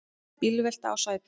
Bílvelta á Sæbraut